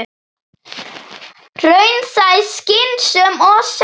Raunsæ, skynsöm og sönn.